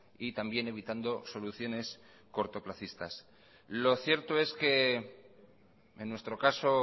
y también evitando soluciones cortoplacistas lo cierto es que en nuestro caso